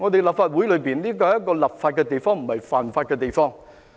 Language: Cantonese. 立法會是一個立法的地方，不是犯法的地方。